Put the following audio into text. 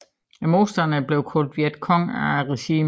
Modstanderne blev kaldt Viet Cong af regimet